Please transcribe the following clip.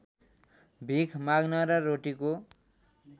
भिख माग्न र रोटीको